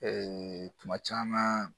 kuma caman